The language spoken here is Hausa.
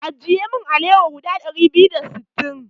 Ajiye min alawa guda ɗari biyu da sittin.